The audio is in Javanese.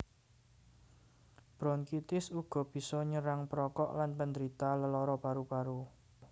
Bronkitis uga bisa nyerang perokok lan penderita lelara paru paru